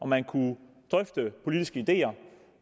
man kunne drøfte politiske ideer